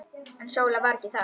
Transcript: En Sóla var ekki þar.